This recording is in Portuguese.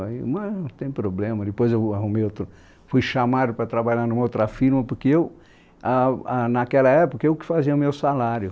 Mas não tem problema, depois eu arrumei outro, fui chamado para trabalhar numa outra firma, porque eu, ah ah naquela época, eu que fazia o meu salário.